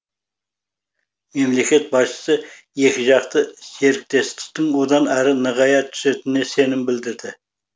мемлекет басшысы екіжақты серіктестіктің одан әрі нығая түсетініне сенім білдірді